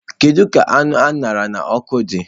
Kedu ka anụ a ṅara n'ọkụ dị?